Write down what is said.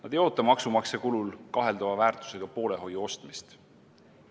Nad ei oota maksumaksja kulul kaheldava väärtusega poolehoiu ostmist.